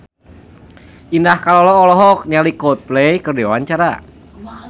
Indah Kalalo olohok ningali Coldplay keur diwawancara